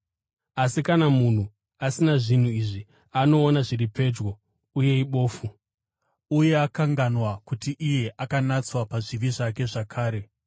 Asi kana munhu asina zvinhu izvi, anoona zviri pedyo uye ibofu, uye akanganwa kuti iye akanatswa pazvivi zvake zvakare.